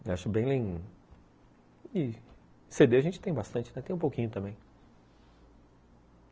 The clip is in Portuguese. Eu acho bem... cê dê a gente tem bastante, tem um pouquinho também.